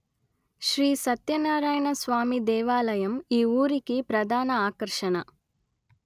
శ్రీ సత్యనారాయణ స్వామి దేవాలయం ఈ ఊరికి ప్రధాన ఆకర్షణ